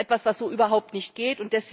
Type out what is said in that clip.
Das ist etwas, was so überhaupt nicht geht.